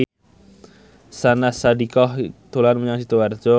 Syahnaz Sadiqah dolan menyang Sidoarjo